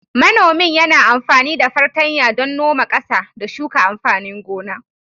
Manomin yana amfani da fartanya don noma ƙasa, da shuka amfanin gona.